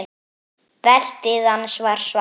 Beltið hans var svart.